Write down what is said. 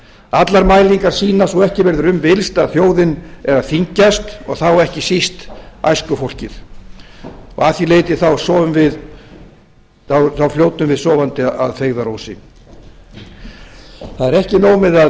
allar mælingar sýna svo ekki verður um villst að þjóðin er að þyngjast og þá ekki síst æskufólkið og að því leyti þá fljótum við sofandi að feigðarósi það er ekki nóg með að